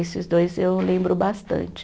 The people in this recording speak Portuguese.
Esses dois eu lembro bastante.